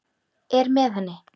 Er með henni.